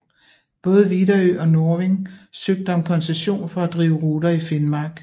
Både Widerøe og Norving søgte om koncession for at drive ruter i Finnmark